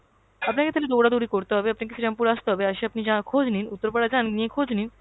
আপনাকে থালে দৌড়া-দৌড়ী করতে হবে, আপনাকে শ্রীরামপুর আসতে হবে, আসে আপনি যা~ খোঁজ নিন। উত্তরপাড়া যান, নিয়ে খোঁজ নিন।